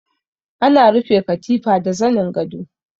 Ana rufe katifa da zanin gado.